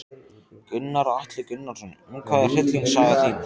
Gunnar Atli Gunnarsson: Um hvað er hryllingssaga þín?